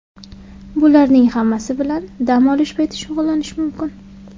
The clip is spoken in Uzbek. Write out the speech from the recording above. Bularning hammasi bilan dam olish payti shug‘ullanish mumkin.